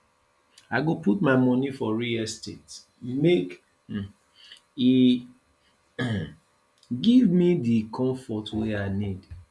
i go put my moni for real estate make um e um give me di comfort wey i need